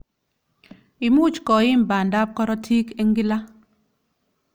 Imuch koim banda ab karotik eng kila.